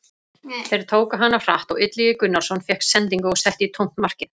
Þeir tóku hana hratt og Illugi Gunnarsson fékk sendingu og setti í tómt markið.